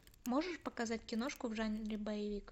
можешь показать киношку в жанре боевик